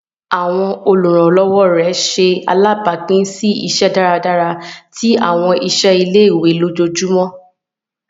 Awọn oluranlọwọ ṣe alabapin si iṣiṣẹ dáradára ti awọn iṣẹ ile-iwe lójoojúmó